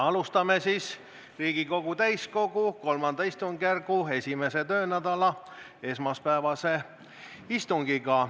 Alustame Riigikogu täiskogu III istungjärgu 1. töönädala esmaspäevast istungit.